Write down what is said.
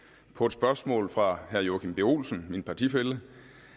på et spørgsmål fra herre joachim b olsen min partifælle